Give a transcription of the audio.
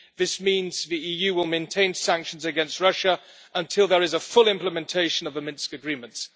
This means the EU will maintain sanctions against Russia until there is a full implementation of the Minsk Agreements.